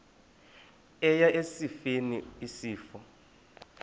eya esifeni isifo